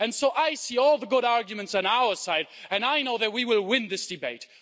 And so I see all the good arguments on our side, and I know that we will win this debate.